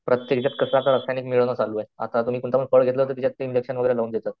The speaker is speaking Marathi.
फळ घेतलं तर त्याच्यात ते इंजेक्शन वगैरे लावून देतात.